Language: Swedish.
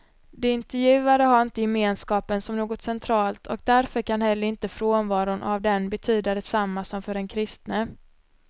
De intervjuade har inte gemenskapen som något centralt och därför kan heller inte frånvaron av den betyda detsamma som för den kristne.